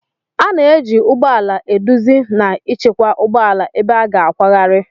A na-eji ụgbọ ala eduzi na ịchịkwa ụgbọ ala ebe a ga-akwagharị